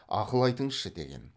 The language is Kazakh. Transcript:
ақыл айтыңызшы деген